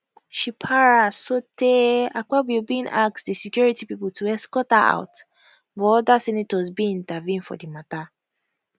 she para sotee akpabio bin ask di security pipo to escort her out but oda senators bin intervene for di matter